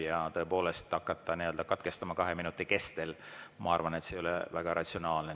Ja tõepoolest hakata katkestama kahe minuti kestel, ma arvan, ei ole väga ratsionaalne.